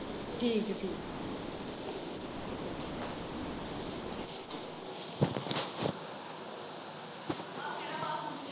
ਠੀਕ ਆ ਠੀਕ ਆ।